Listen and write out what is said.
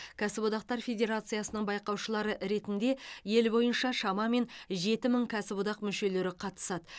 кәсіподақтар федерациясының байқаушылары ретінде ел бойынша шамамен жеті мың кәсіподақ мүшелері қатысады